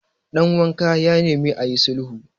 danwanka ya nemi a yi sulhu